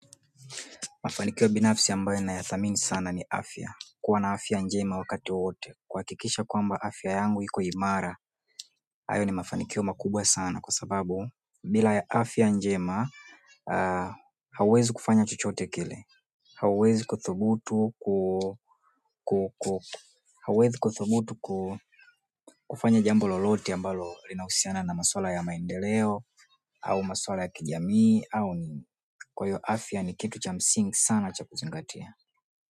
Mafanikio binafsi ya ambayo nayathamini sana ni afya. Kuwa na afya njema wakati wowote. Kuhakikisha kwamba afya yangu iko imara, hayo ni mafanikio makubwa sana kwa sababu bila afya njema, hauwezi kufanya chochote kile. Hauwezi kuthubutu kufanya jambo lolote ambalo linahusiana na maswala ya maendeleo au maswala ya kijamii au ni kwa hiyo afya ni kitu cha msingi sana cha kuzingatia.